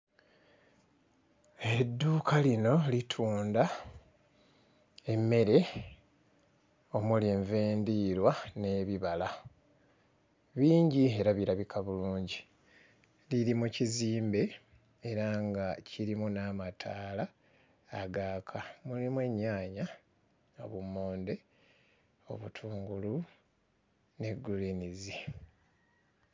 Edduuka lino litunda emmere omuli enva endiirwa n'ebibala, bingi era birabika bulungi liri mu kizimbe era nga kirimu n'amataala agaaka, mulimu ennyaanya, obummonde, obutungulu ne gguliinizi.